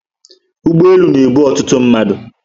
Ụgbọelu na ebu ọtụtụ mmadụ